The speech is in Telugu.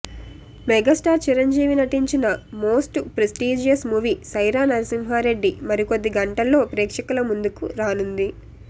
మెగాస్టార్ చిరంజీవి నటించిన most prestigious movie Sye Raa Narasimha Reddy మరికొద్ది గంటల్లో ప్రేక్షకుల ముందుకు రానుంది